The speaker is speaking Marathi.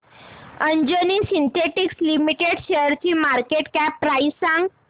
अंजनी सिन्थेटिक्स लिमिटेड शेअरची मार्केट कॅप प्राइस सांगा